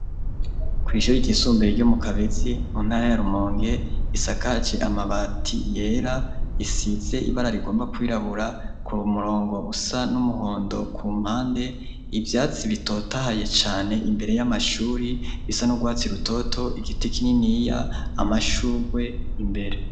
Kw'ishuru ryisumbuye ryo mu Kabezi mu ntara ya Rumonge risakaje amabati yera, isize ibara rigomba kwirabura, kumurongo usa n'umuhondo kumpande, ivyatsi bitotahaye cane imbere y'amashuri, bisa n'urwatsi rutoto, igiti kininiya, amashugwe imbere.